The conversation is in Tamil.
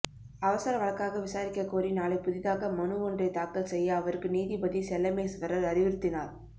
அவசர வழக்காக விசாரிக்க கோரி நாளை புதிதாக மனு ஒன்றை தாக்கல் செய்ய அவருக்கு நீதிபதி செல்லமேஸ்வர் அறிவுறுத்தினார்